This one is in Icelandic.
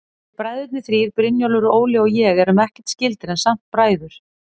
Við bræðurnir þrír, Brynjólfur, Óli og ég, erum ekkert skyldir, en samt bræður.